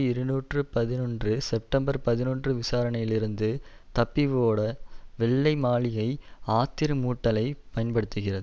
இருநூற்றி பதினொன்றுசெப்டம்பர் பதினொன்று விசாரணையிலிருந்து தப்பி ஓட வெள்ளை மாளிகை ஆத்திரமூட்டலை பயன்படுத்துகிறது